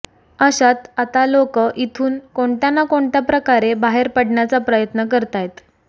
अशात आता लोक इथून कोणत्या ना कोणत्या प्रकारे बाहेर पडण्याचा प्रयत्न करतायत